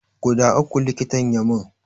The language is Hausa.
Guda uku likitan ya mun